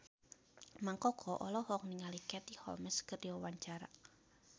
Mang Koko olohok ningali Katie Holmes keur diwawancara